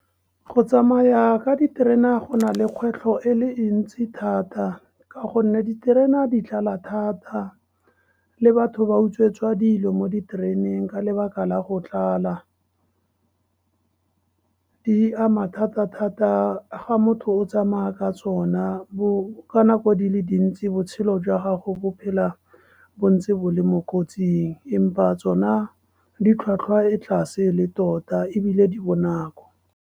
Go tsamaya ka diterena go nale kgwetlho e le ntsi thata, ka gonne diterena di tlala thata le batho ba utswetswa dilo mo ditereneng, ka lebaka la go tlala. Di ama thata-thata fa motho o tsamaya ka tsona. Ka nako dile dintsi, botshelo jwa gago bo phela bontse bo le mo kotsing, empa tsona ditlhwatlhwa e tlase le tota ebile di bonako.